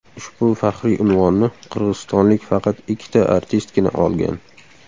Ushbu faxriy unvonni qirg‘izistonlik faqat ikkita artistgina olgan.